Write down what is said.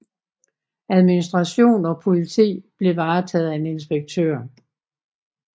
Administration og politi blev varetaget af en inspektør